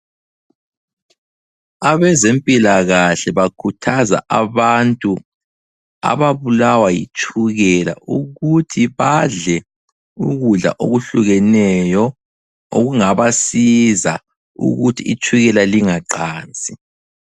Abezempilakahle bakhuthaza abantu ababulawa yitshukela ukuthi badle ukudla okuhlukeneyo okungabasiza ukuthi itshukela lingaqansi.